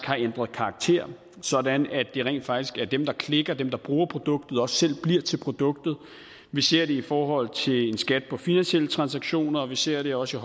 har ændret karakter sådan at det rent faktisk er dem der klikker og bruger produktet der selv bliver til produktet vi ser det i forhold til en skat på finansielle transaktioner og vi ser det også